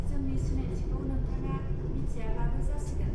जोंनि सिनायथिखौ नोंथाङा मिथियाब्लाबो जासिगोन